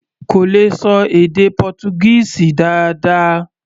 Kò lè ṣọ èdè Pọ́túgíìsì dáadáa.